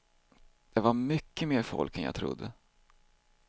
Det var mycket mer folk än jag trodde.